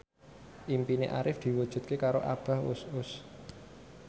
impine Arif diwujudke karo Abah Us Us